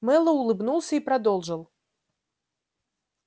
мэллоу улыбнулся и продолжил